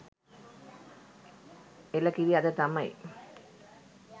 එළ කිරි අද තමයි